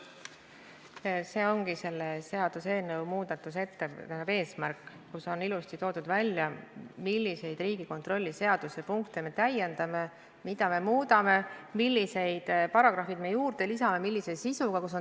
See ongi seaduseelnõu eesmärki selgitades ilusasti välja toodud, milliseid Riigikontrolli seaduse punkte me täiendame, mida me muudame, millised paragrahvid juurde lisame, millise sisuga.